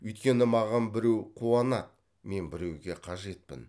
өйткені маған біреу қуанады мен біреуге қажетпін